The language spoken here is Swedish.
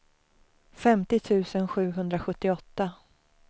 femtio tusen sjuhundrasjuttioåtta